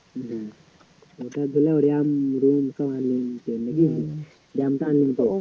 জ্বি ওটার জন্যই